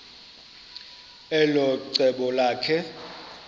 elo cebo lakhe